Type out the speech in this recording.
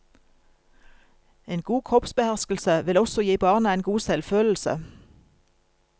En god kroppsbeherskelse vil også gi barna en god selvfølelse.